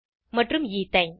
மற்றும் எத்தினே